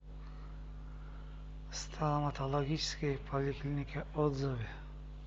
стоматологическая поликлиника отзывы